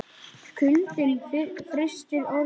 Kuldinn frystir orð mín.